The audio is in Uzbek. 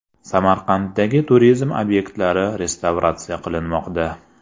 Samarqanddagi turizm obyektlari restavratsiya qilinmoqda.